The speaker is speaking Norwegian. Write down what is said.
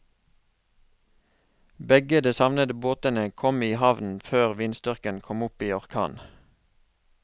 Begge de savnede båtene kom i havn før vindstyrken kom opp i orkan.